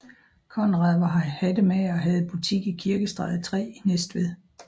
Conrad var hattemager og havde butik i Kirkestræde 3 i Næstved